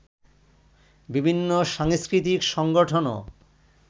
বিভিন্ন সাংস্কৃতিক সংগঠনও